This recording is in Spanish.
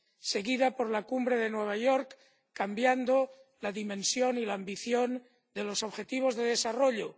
seguida por la Cumbre de Nueva York, cambiando la dimensión y la ambición de los objetivos de desarrollo